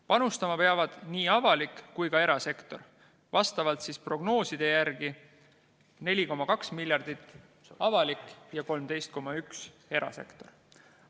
Panustama peavad nii avalik kui ka erasektor, prognooside järgi peaks tulema 4,2 miljardit avalikust ja 13,1 miljardit erasektorist.